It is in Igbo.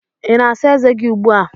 Ị na-asa ezé gị ugbu a?